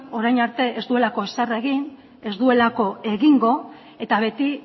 orain arte ez duelako ezer egin ez duelako egingo eta beti